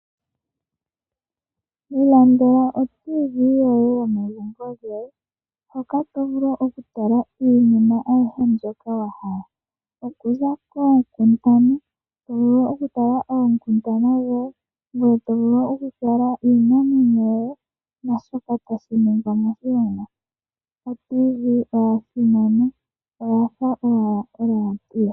Ilandela o radio yomuzizimbe yoye yomegumbo lyoye hoka to vulu okutala iinima ayihe mbyoka wa hala. Okuza koonkundana osho wo iinamwenyo nakehe shoka tashi ningwa moshilongo. Oradio yomuzizimbe oya simana oyafa owala olaadio.